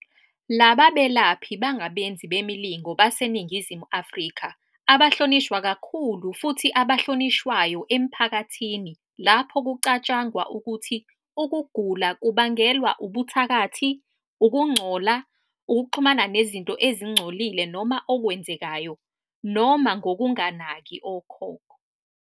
Laba belaphi bangabenzi bemilingo baseNingizimu Afrika abahlonishwa kakhulu futhi abahlonishwayo emphakathini lapho kucatshangwa ukuthi ukugula kubangelwa ubuthakathi, ukungcola, ukuxhumana nezinto ezingcolile noma okwenzekayo, noma ngokunganaki okhokho.